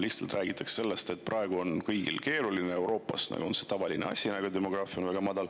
Lihtsalt räägitakse sellest, et praegu on kõigil keeruline ja Euroopas on see tavaline asi, et on väga madal.